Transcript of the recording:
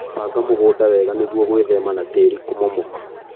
Banga mũgunda wega nĩguo gwĩthema na tĩri kũmomoka.